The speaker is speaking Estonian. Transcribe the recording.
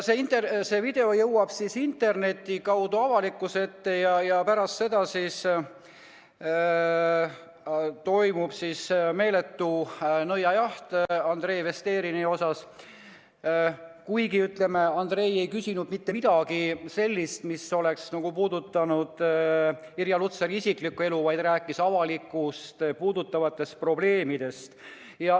See video jõuab interneti kaudu avalikkuse ette ja pärast seda toimub meeletu nõiajaht Andrei Vesterinenile, kuigi Andrei ei küsinud mitte midagi sellist, mis oleks puudutanud Irja Lutsari isiklikku elu, vaid rääkis avalikkust puudutavatest probleemidest.